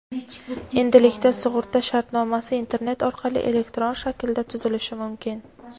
endilikda sug‘urta shartnomasi internet orqali elektron shaklda tuzilishi mumkin.